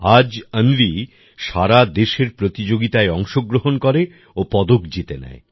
আজ অন্বি সারা দেশের প্রতিযোগিতায় অংশগ্রহণ করে ও পদক জিতে নেয়